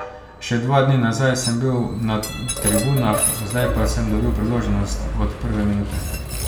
Še dva dni nazaj sem bil na tribunah, zdaj pa sem dobil priložnost od prve minute.